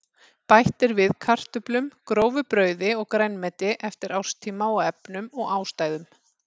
Bætt er við kartöflum, grófu brauði og grænmeti eftir árstíma og efnum og ástæðum.